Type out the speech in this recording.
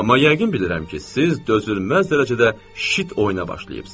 Amma yəqin bilirəm ki, siz dözülməz dərəcədə şit oyuna başlayıbsınız.